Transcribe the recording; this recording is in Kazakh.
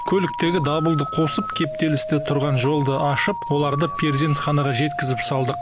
көліктегі дабылды қосып кептелісте тұрған жолды ашып оларды перзентхнаға жеткізіп салдық